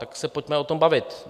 Tak se pojďme o tom bavit.